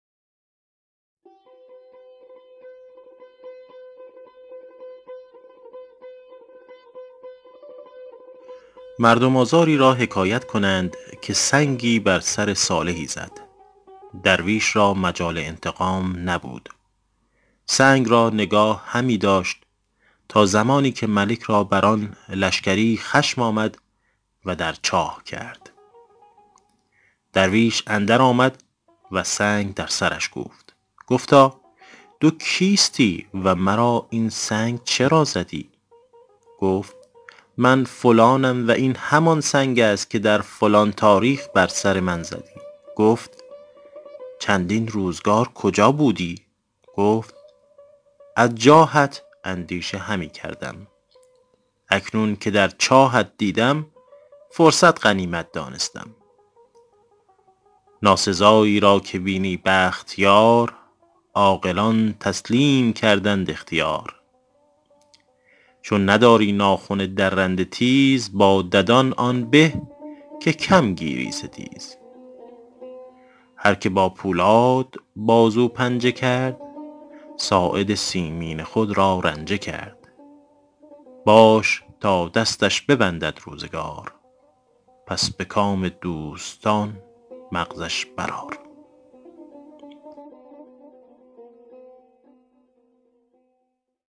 مردم آزاری را حکایت کنند که سنگی بر سر صالحی زد درویش را مجال انتقام نبود سنگ را نگاه همی داشت تا زمانی که ملک را بر آن لشکری خشم آمد و در چاه کرد درویش اندر آمد و سنگ در سرش کوفت گفتا تو کیستی و مرا این سنگ چرا زدی گفت من فلانم و این همان سنگ است که در فلان تاریخ بر سر من زدی گفت چندین روزگار کجا بودی گفت از جاهت اندیشه همی کردم اکنون که در چاهت دیدم فرصت غنیمت دانستم ناسزایی را که بینی بخت یار عاقلان تسلیم کردند اختیار چون نداری ناخن درنده تیز با ددان آن به که کم گیری ستیز هر که با پولاد بازو پنجه کرد ساعد مسکین خود را رنجه کرد باش تا دستش ببندد روزگار پس به کام دوستان مغزش بر آر